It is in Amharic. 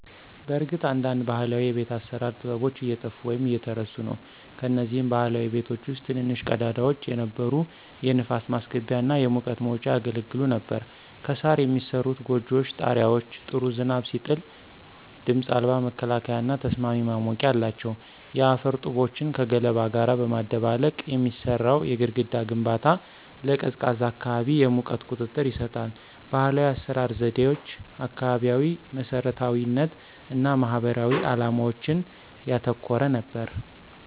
በእርግጥ አንዳንድ ባህላዊ የቤት አሰራር ጥበቦች እየጠፉ ወይም እየተረሱ ነው። ከነዚህም ባህላዊ ቤቶች ውስጥ ትንንሽ ቀዳዳዎች የነበሩ የንፋስ ማስገቢያ እና የሙቀት መውጫ ያገለግሉ ነበር። ከሣር የሚሠሩት ጎጆዎች ጣሪያዎች ጥሩ ዝናብ ሲጥል ድምፅ አልባ መከላከያና ተስማሚ ማሞቂያ አላቸው። የአፈር ጡቦችን ከገለባ ጋር በማደባለቅ የሚሠራው የግድግዳ ግንባታ ለቀዝቃዛ አካባቢ የሙቀት ቁጥጥር ይሰጣል። ባህላዊ የአሰራር ዘዴዎች አካባቢያዊ መሰረታዊነት እና ማህበራዊ ዓላማዎችን ያተኮረ ነበር።